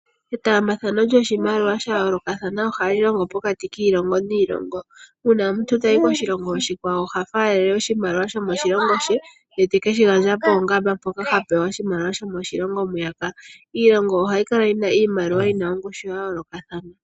Etaambathano lyoshimaliwa sha yoolokathana ohayi longo pokati kiilongo niilongo. Uuna omuntu tayi koshilongo oshikwawo oha faalele oshimaliwa shokoshilongo she e te keshi gandja poongamba mpoka ha pewa oshimaliwa shomoshilongo mwiyaka. Iilongo ohayi kala yi na iimaliwa yi na ongushu ya yoolokathana.